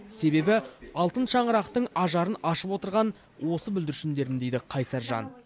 себебі алтын шаңырақтың ажарын ашып отырған осы бүлдіршіндерім дейді қайсар жан